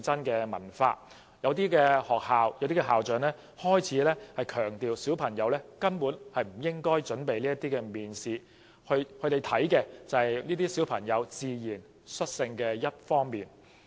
部分學校和校長更強調小朋友根本不應為面試作準備，因為學校注重的是小朋友自然率性的表現。